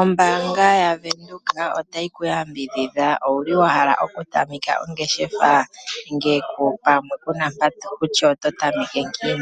Ombaanga yaVenduka otayi ku yambidhidha uuna wa hala okutameka ongeshefa ndele ku na iiyemo yokutameka.